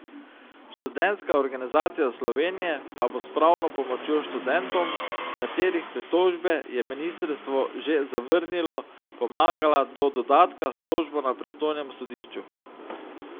Študentska organizacija Slovenije pa bo s pravno pomočjo študentom, katerih pritožbe je ministrstvo že zavrnilo, pomagala do dodatka s tožbo na pristojnem sodišču.